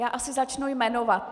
Já asi začnu jmenovat.